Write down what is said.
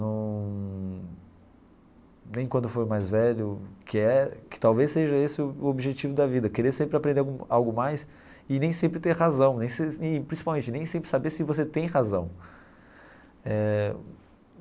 Num nem quando eu for mais velho, que é que talvez seja esse o o objetivo da vida, querer sempre aprender algo algo mais e nem sempre ter razão nem sem, e principalmente nem sempre saber se você tem razão eh.